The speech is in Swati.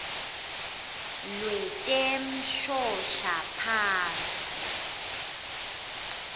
lwetemshoshaphasi